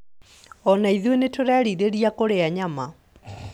Ona ithuĩ nĩtũrerirĩria kũrĩa nyama